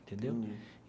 Entendeu?